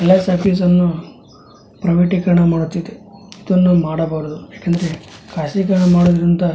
ಹಳೆ ಟಾಕೀಸ್ ಅನ್ನು ಪ್ರೈವಟೈಕರಣ ಮಾಡುತ್ತಿದೆ ಇದನ್ನು ಮಾಡಬಾರದು ಯಾಕೆಂದರೆ ಖಾಸಗೀಕರಣ ಮಾಡುವುದರಿಂದ --